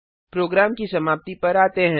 programme की समाप्ति पर आते हैं